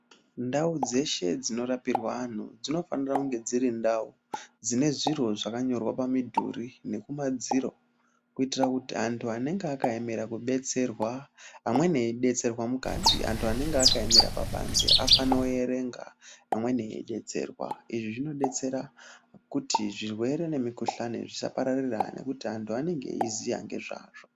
Ndau dzeshe dzinorapirwa anhu dzinofanira kunge dziri ndau dzine zviro zvakanyorwa pamidhuri nekumadziro, kuitira kuti anhu anenga akaemera kubetserwa, amweni eidetserwa mukati, anhu anenge akaemera kubanze, afanoerenga amweni eidetserwa. Izvi zvinodetsera kuti zvirwere nemikhuhlani zvisapararira nekuti anhu anenge eiziya ngezvazvo.